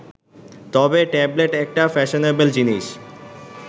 তবে ট্যাবলেট একটা ফ্যাশনেবল জিনিস